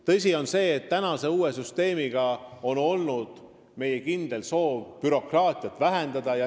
Tõsi on see, et meil on kindel soov uue süsteemiga bürokraatiat vähendada.